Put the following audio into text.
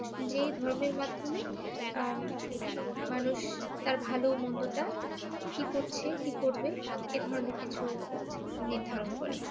যে ধর্মের মাধ্যমে উম মানুষ তার ভালো মন্দটা কি করছে কি করবে এই ধরনের কিছু নির্ধারণ করে ।